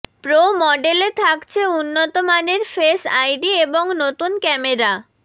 pro মডেলে থাকছে উন্নত মানের ফেস আইডি এবং নতুন ক্যামেরা